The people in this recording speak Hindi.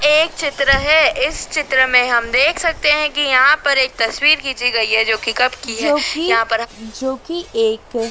एक चित्र है इस चित्र मे हम देख सकते है कि यहां पर एक तस्वीर खींची गई है जो कि कब की है जो कि जो कि एक--